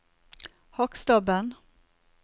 Hakkstabben